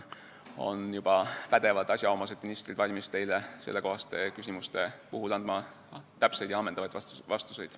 Küll on pädevad asjaomased ministrid valmis teie sellekohastele küsimustele andma kindlasti täpseid ja ammendavaid vastuseid.